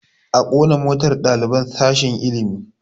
A ƙona motar ɗaliban sashen ilimi